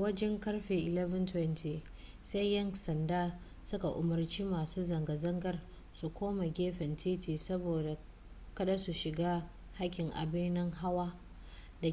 wajen karfe 11:20 sai yan sandan su ka umarci masu zanga zangar su koma gefen titi saboda kada su shiga hakkin ababen hawa da